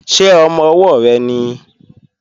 Ṣé ọmọ-ọwọ́ rẹ nìí?